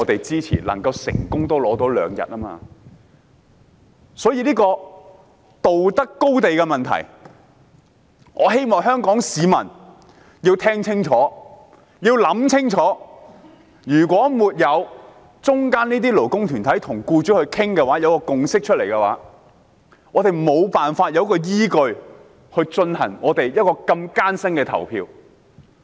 這牽涉道德高地的問題。我希望香港市民聽清楚和想清楚，如果沒有擔當中間人角色的勞工團體與僱主商討及達成共識，我們便缺乏依據進行這項得來不易的表決。